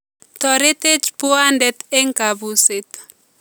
Toretech buuwaantet eng kabuuseet